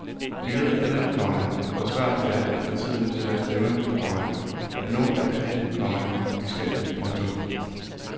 Vi ved alle, komma hvor svært det er at få tiden til at stemme, komma at nå alt det, komma vi skal. punktum